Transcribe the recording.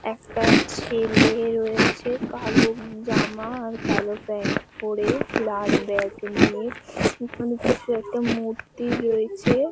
একটা ছেলে রয়েছে কালো জামা আর কালো প্যান্ট পরে। লাল ব্যাগ নিয়ে ওখানে কিছু একটা মূর্তি রয়েছে ।